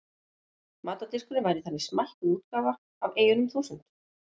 matardiskurinn væri þannig smækkuð útgáfa af eyjunum þúsund